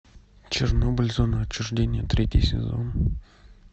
чернобыль зона отчуждения третий сезон